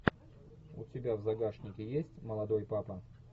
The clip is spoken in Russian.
у тебя в загашнике есть молодой папа